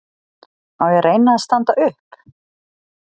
Á ég að reyna að standa upp?